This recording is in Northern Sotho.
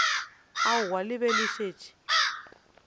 aowa le be le šetše